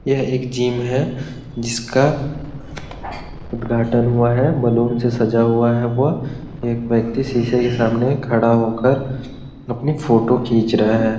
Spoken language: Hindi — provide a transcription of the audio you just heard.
यह एक जीम है जिसका उद्घाटन हुआ है बलून से सजा हुआ है वह एक व्यक्ति शीशे के सामने खड़ा होकर अपनी फोटो खींच रहा है ।